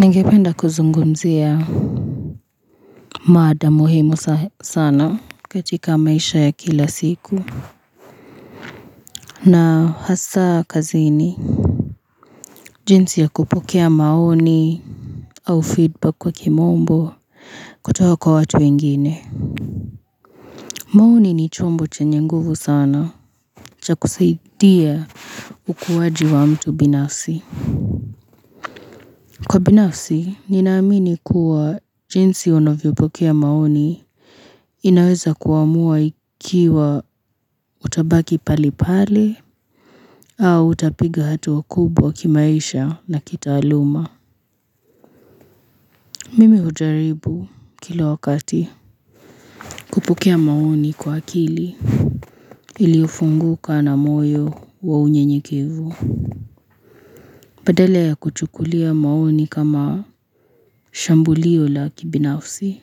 Ningependa kuzungumzia mada muhimu sana katika maisha ya kila siku na hasa kazini jinsi ya kupokea maoni au feedback kwa kimombo kutoka kwa watu wengine maoni ni chombo chenye nguvu sana cha kusaidia ukuaji wa mtu binafsi Kwa binafsi, ninaamini kuwa jinsi unavyopokea maoni inaweza kuamua ikiwa utabaki pale pale au utapiga hatua kubwa kimaisha na kitaaluma. Mimi hujaribu kila wakati. Kupokea maoni kwa akili iliyofunguka na moyo wa unyenyekevu. Badala ya kuchukulia maoni kama shambulio la kibinafsi.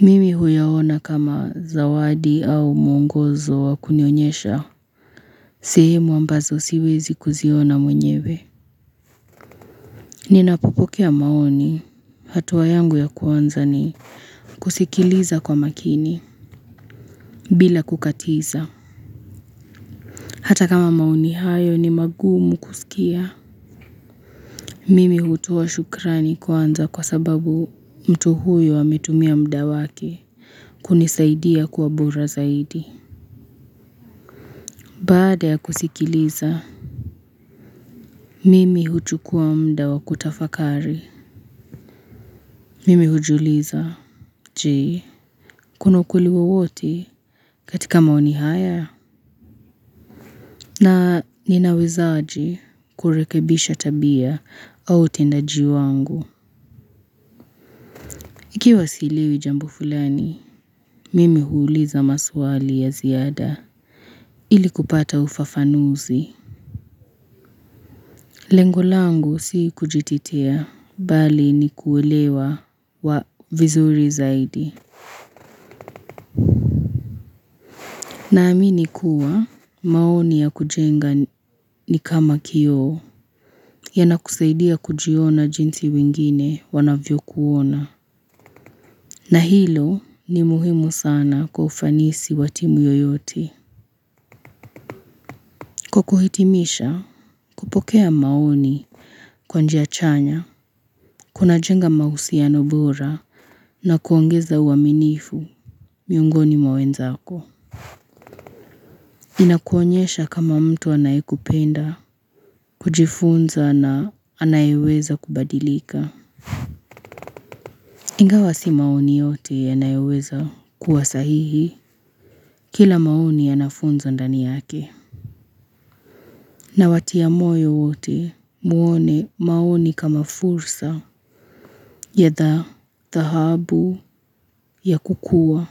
Mimi huyaona kama zawadi au mwongozo wa kunionyesha. Sehimu ambazo siwezi kuziona mwenyewe. Ninapopokea maoni. Hatua yangu ya kwanza ni kusikiliza kwa makini bila kukatiza. Hata kama maoni hayo ni magumu kusikia. Mimi hutoa shukrani kwanza kwa sababu mtu huyo ametumia muda wake. Kunisaidia kuwa bora zaidi. Baada ya kusikiliza. Mimi huchukuwa muda wa kutafakari. Mimi hujiuliza. Je, kuna ukweli wowote katika maoni haya. Na ninawezaje kurekebisha tabia au utendaji wangu. Ikiwa sielewi jambo fulani, mimi huuliza maswali ya ziada ili kupata ufafanuzi. Lengo langu si kujitetea bali ni kuelewa vizuri zaidi. Naamini kuwa maoni ya kujenga ni kama kioo yanakusaidia kujiona jinsi wengine wanavyokuona. Na hilo ni muhimu sana kwa ufanisi wa timu yoyote. Kwa kuhitimisha kupokea maoni kwa njia chanya kunajenga mahusiano bora na kuongeza uaminifu miongoni mwa wenzako. Inakuonyesha kama mtu anayekupenda kujifunza na anayweza kubadilika Ingawa si maoni yote yanayoweza kuwa sahihi kila maoni yana funzo ndani yake Nawatia moyo wote muone maoni kama fursa ya dhahabu ya kukua.